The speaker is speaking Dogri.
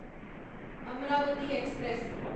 अमरावती एक्सप्रेस